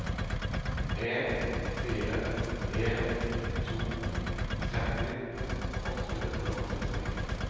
en fire en to tretti åtte hundre og førtini